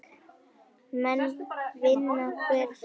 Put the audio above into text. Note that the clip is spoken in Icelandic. Menn vinna hver fyrir annan.